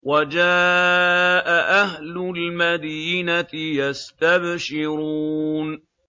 وَجَاءَ أَهْلُ الْمَدِينَةِ يَسْتَبْشِرُونَ